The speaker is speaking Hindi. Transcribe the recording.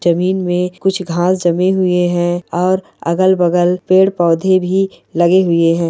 जमीन में कुछ घांस जमे हुए हैं और अगल-बगल पेड़-पौधे भी लगे हुए हैं।